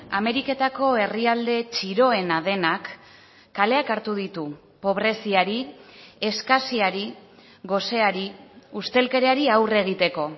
ameriketako herrialde txiroena denak kaleak hartu ditu pobreziari eskasiari goseari ustelkeriari aurre egiteko